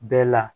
Bɛɛ la